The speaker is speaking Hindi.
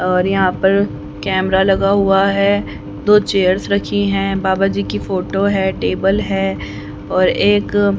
और यहां पर कैमरा लगा हुआ है दो चेयर्स रखी है बाबा जी की फोटो है टेबल है और एक--